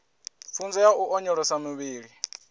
pfunzo ya u onyolosa muvhili